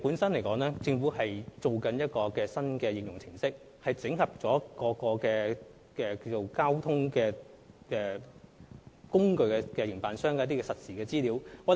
政府正在設計一個新的應用程式，整合各公共交通服務營辦商的實時資料。